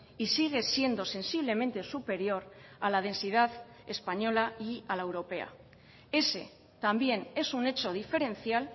y sigue siendo sensiblemente superior a la densidad española y a la europea ese también es un hecho diferencial